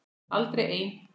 Aldrei ein